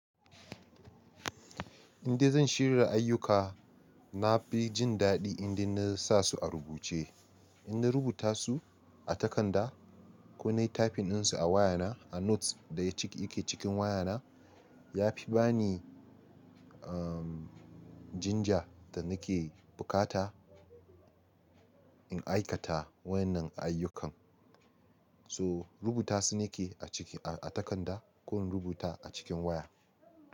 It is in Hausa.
Inda zan shirya ayyuka, na fi jin daɗi inda na sa su a rubuce. In na rubuta su a takarda ko na yi tafin ɗinsu a wayana, a notes daya cike yake cikin wayana ya fi bani, uhm, jinja da nake bukata in aikata wannan ayyukan. So rubuta su nake a ciki, a takarda ko rubuta a cikin waya.